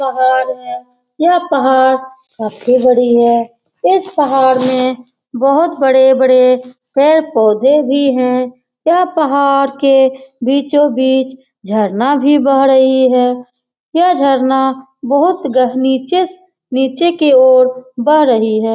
पहाड़ है यह पहाड़ काफी बड़ी है इस पहाड़ में बहुत बड़े-बड़े पेड़-पौधे भी है यह पहाड़ के बीचो-बीच झरना भी बह रही है यह झरना बहुत गह नीचे से नीचे की ओर बह रही है।